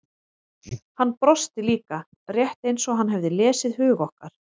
Hann brosti líka, rétt eins og hann hefði lesið hug okkar.